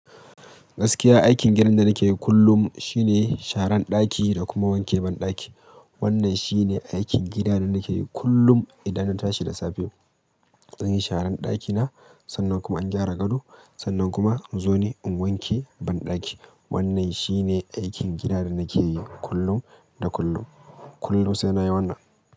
Gaskiya aikin gidan da nake yi kullum shine share ɗaki da kuma wanke banɗaki. Wannan shine aikin gida da nake yi kullum idan na tashi da safe. Zanyi sharan ɗakina, sannan kuma an gyara gado, sannan kuma in zo ne in wanke banɗaki. Wannan shine aikin gida da nake yi kullum da kullum. Kullun sai nayi wannan.